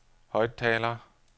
højttaler